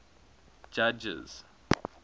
judges